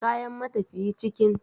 Kayan matafiyi cikin